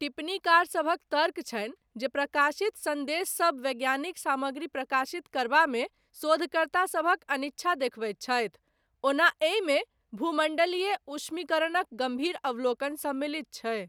टिप्पणीकारसभक तर्क छनि जे प्रकाशित सन्देशसब वैज्ञानिक सामग्री प्रकाशित करबामे शोधकर्तासभक अनिच्छा देखबैत छै, ओना एहिमे भूमण्डलीय ऊष्मीकरणक गम्भीर अवलोकन सम्मिलित छै।